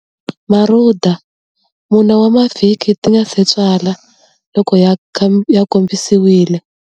Marhuda, 4 wa mavhiki ti nga si tswala, loko ya kombisiwile